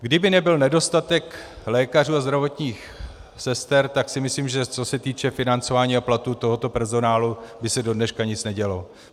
Kdyby nebyl nedostatek lékařů a zdravotních sester, tak si myslím, že co se týče financování a platů tohoto personálu by se do dneška nic nedělo.